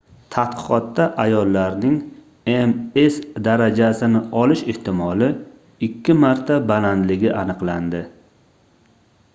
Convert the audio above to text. tadqiqotda ayollarning ms darajasini olish ehtimoli ikki marta balandligi aniqlandi